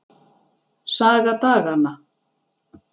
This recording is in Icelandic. Saga daganna.